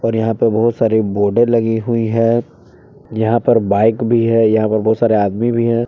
यहां पे बहुत सारे बोर्डे लगी हुई है यहां पे बाइक भी है यहां पे बहुत सारे आदमी भी हैं।